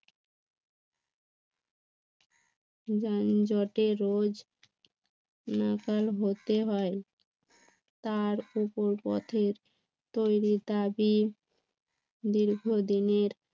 যানজটে রোজ নাকাল হতে হয় তার উপর পথের তৈরি তাবি দীর্ঘদিনের